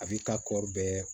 A b'i ka kɔɔri bɛɛ